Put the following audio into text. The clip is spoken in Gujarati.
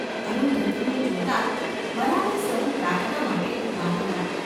અરુંધતીને જોતાં જ બરાબર સહુ પ્રાર્થના માટે ઊભાં થયાં.